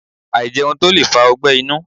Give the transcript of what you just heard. Àìjẹun tó lè fa ogbẹ́ inú